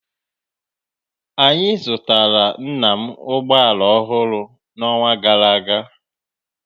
Anyị zụtara nna m ụgbọ ala ọhụrụ n'ọnwa gara aga